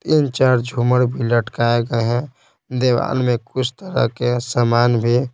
इन चार झूमड़ भी लटकाए गए हैं देवान में कुछ तरह के सामान भी--